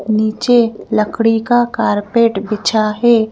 नीचे लकड़ी का कारपेट बिछा है।